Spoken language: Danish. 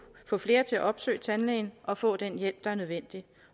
få flere til at opsøge tandlægen og få den hjælp der er nødvendig